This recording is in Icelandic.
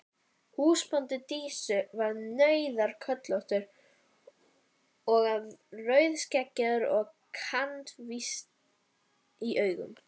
Húsbóndi Dísu var nauðasköllóttur og rauðskeggjaður og kankvís í augum.